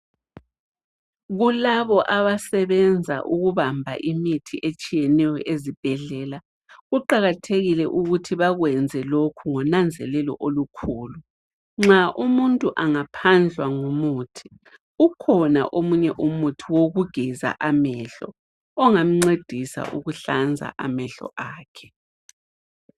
Kulabo abasebenza ukubamba imithi etshiyeneyo ezibhedlela kuqakathekile ukuthi bakwenze lokhu ngonanzelelo olukhulu. Nxa umuntu engaphandlwa ngumuthi kukhona omunye umuthi wokugeza amehlo ongamncedisa ukuhlanza amehlo akhe.